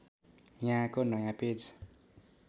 यहाँको नयाँ पेज